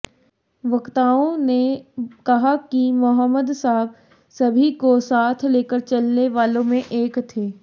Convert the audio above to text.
वक्ताओं ने कहा कि मोहम्मद साहब सभी को साथ लेकर चलने वालों में एक थे